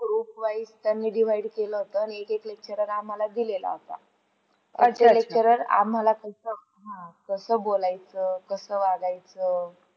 Groupwise त्यांनी divide केला होता, आणि एक एक lecturer आम्हाला दिला होता. अतिरेक आम्हाला कसं बोलायचं? कसं वागायच?